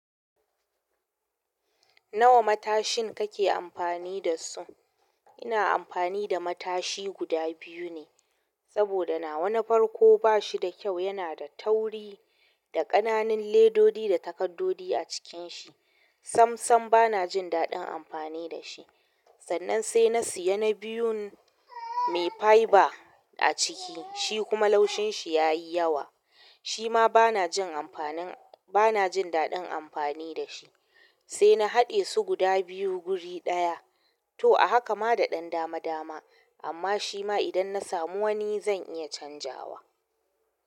Nawa matashin kake amfani da su? Ina amfani da matashi guda biyu ne, saboda nawa na farko ba shi da kyau. Yana da tauri da ƙananan ledodi da takaddodi a cikin shi. Samsam bana jin daɗin amfani da shi. Sannan sai na siya na biyun. Mai fiber a ciki, shi kuma laushin shi ya yi yawa. Shi ma bana jin amfanin. Bana jin daɗin amfani da shi, sai na haɗe su guda biyu guri ɗaya. To a haka ma da ɗan dama dama, amma shi ma idan na samu wani zan iya canjawa.